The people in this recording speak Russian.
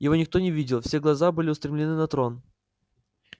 его никто не видел все глаза были устремлены на трон